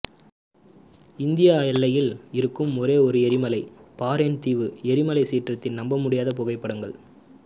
இந்திய எல்லையில் இருக்கும் ஒரே ஒரு எரிமலை பாரென் தீவு எரிமலை சீற்றத்தின் நம்பமுடியாத புகைப்படங்கள்